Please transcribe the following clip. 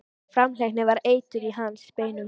Framhleypni var eitur í hans beinum.